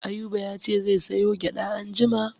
Ayuba ya ce zai sayo gyaɗa anjima.